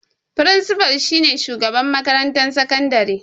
Firinsifal shi ne Shugaban makarantar sakandare.